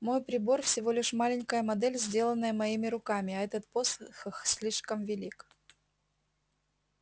мой прибор всего лишь маленькая модель сделанная моими руками а этот посох слишком велик